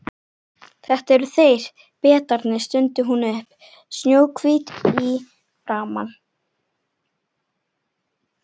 Þetta eru þeir, Bretarnir stundi hún upp, snjóhvít í framan.